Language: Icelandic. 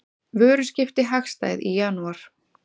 Vöruskipti hagstæð í janúar